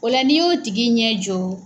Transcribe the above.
O la n'i y'o tigi ɲɛ jɔ